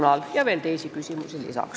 Peale selle on meil veel teisi küsimusi.